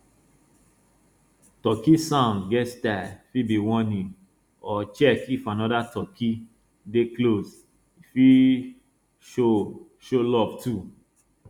turkey sound get style fit be warning or check if anoda turkey dey close e fit show show love too